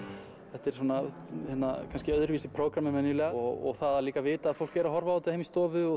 þetta er svona kannski öðruvísi prógramm en venjulega og það að líka vita að fólk er að horfa á þetta heima í stofu og